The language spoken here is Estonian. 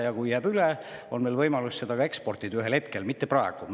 Kui meil jääb midagi üle, siis on meil võimalus seda ühel hetkel ka eksportida, aga mitte praegu.